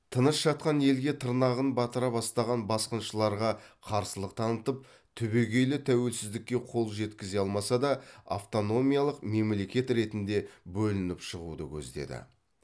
тыныш жатқан елге тырнағын батыра бастаған басқыншыларға қарсылық танытып түбегейлі тәуелсіздікке қол жеткізе алмаса да автономиялық мемлекет ретінде бөлініп шығуды көздеді